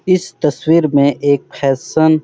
इस तस्वीर में एक फैशन --